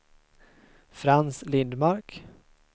Frans Lindmark